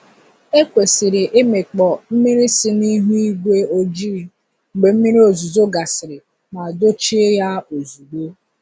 E kwesịrị ịmịkpọ mmiri si n’ihu ígwé ojii mgbe mmiri ozuzo gasịrị ma dochie ya ozugbo.